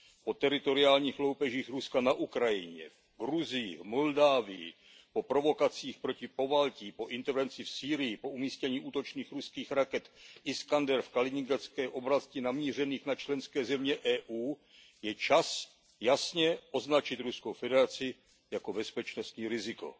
Po teritoriálních loupežích Ruska na Ukrajině, v Gruzii, v Moldávii, po provokacích proti Pobaltí, po intervenci v Sýrii, po umístění útočných ruských raket Iskander v Kaliningradské oblasti namířených na členské země EU je čas jasně označit Ruskou federaci jako bezpečnostní riziko.